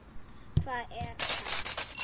Hvar er hann þá?